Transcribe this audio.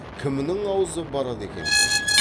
кімнің аузы барады екен деді